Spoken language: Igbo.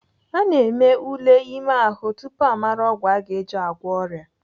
Ana eme ule ime ahụ tupu amara ọgwụ aga eji agwọ ọrịa.